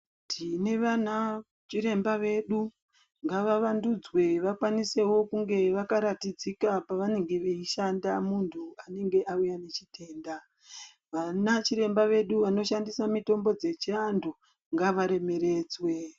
Tine vana chiremba vedu ngavavandudzwe vakanisevo kunge vakaratidzika pavanenge veishanda muntu paanenge auya nechitenda. Vana chiremba vedu vanoshandisa mitombo dzechiantu ngavaremeredzwe.